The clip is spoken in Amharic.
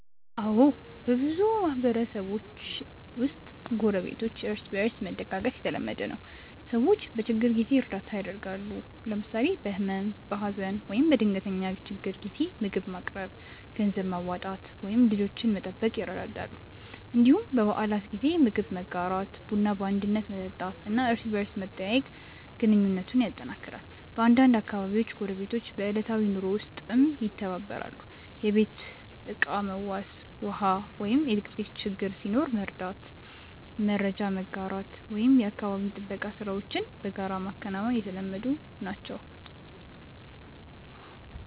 አዎ፣ በብዙ ማህበረሰቦች ውስጥ ጎረቤቶች እርስ በእርስ መደጋገፍ የተለመደ ነው። ሰዎች በችግር ጊዜ እርዳታ ያደርጋሉ፣ ለምሳሌ በህመም፣ በሀዘን ወይም በድንገተኛ ችግር ጊዜ ምግብ ማቅረብ፣ ገንዘብ ማዋጣት ወይም ልጆችን መጠበቅ ይረዳዳሉ። እንዲሁም በበዓላት ጊዜ ምግብ መጋራት፣ ቡና በአንድነት መጠጣት እና እርስ በርስ መጠያየቅ ግንኙነቱን ያጠናክራል። በአንዳንድ አካባቢዎች ጎረቤቶች በዕለታዊ ኑሮ ውስጥም ይተባበራሉ፤ የቤት ዕቃ መዋስ፣ ውሃ ወይም ኤሌክትሪክ ችግር ሲኖር መርዳት፣ መረጃ መጋራት ወይም የአካባቢ ጥበቃ ሥራዎችን በጋራ ማከናወን የተለመዱ ናቸው።